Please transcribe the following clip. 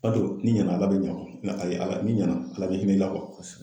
B'a to n'i nɛna ala be ɲɛ kuwa n'ale ala ni ɲɛna ala be hinɛ ila kuwa kosɛbɛ